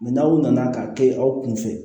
n'aw nana ka kɛ aw kun fɛ